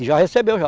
E já recebeu, já.